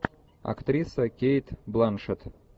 актриса кейт бланшетт